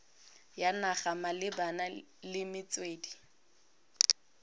ya naga malebana le metswedi